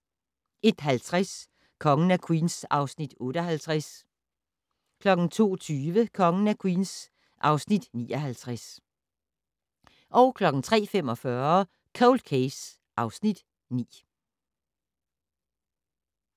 01:50: Kongen af Queens (Afs. 58) 02:20: Kongen af Queens (Afs. 59) 03:45: Cold Case (Afs. 9)